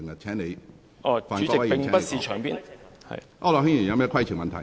區諾軒議員，你有甚麼規程問題？